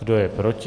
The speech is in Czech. Kdo je proti?